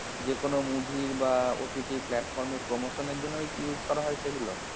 যেকোনো movie র বা OTT platform এর promotion এর জন্য ওই use করা হয় সেগুলো?